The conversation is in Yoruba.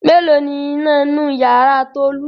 Mélòó ni iná inú ìyàrá Tolú?